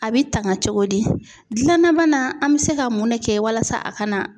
A bɛ tanga cogo di, gilanna bana, an bɛ se ka mun de kɛ walasa a kana